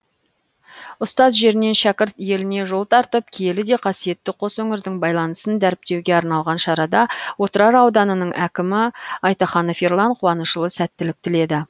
ұстаз жерінен шәкірт еліне жол тартып киелі де қасиетті қос өңірдің байланысын дәріптеуге арналған шарада отырар ауданының әкімі айтаханов ерлан қуанышұлы сәттілік тіледі